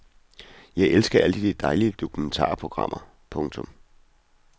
Jeg elsker alle de dejlige dokumentarprogrammer. punktum